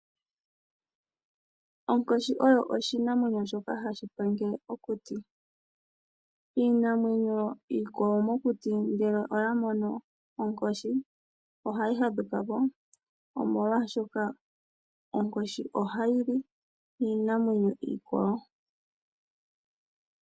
Onkoshi oyo oshinamwenyo shoka hashi pangele okuti. Iinamwenyo iikwawo mokuti ngele oyamono onkoshi , ohayi fadhukapo omolwaashoka onkoshi ohayi li iinamwenyo iikwawo.